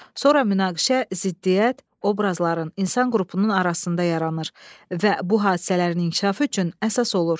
Sonra münaqişə, ziddiyyət, obrazların, insan qrupunun arasında yaranır və bu hadisələrin inkişafı üçün əsas olur.